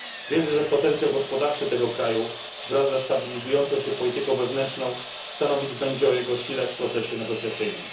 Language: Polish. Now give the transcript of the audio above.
Wierzę, że potencjał gospodarczy tego kraju wraz ze stabilizującą się polityką wewnętrzną stanowić będzie o jego sile w procesie negocjacyjnym.